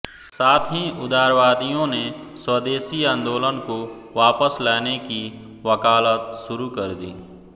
साथ ही उदारवादियों ने स्वदेशी आन्दोलन को वापस लाने की वकालत शुरू कर दी